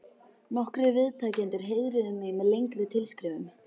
Nokkrir viðtakendur heiðruðu mig með lengri tilskrifum.